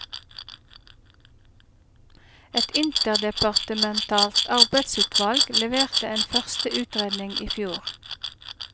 Et interdepartementalt arbeidsutvalg leverte en første utredning i fjor.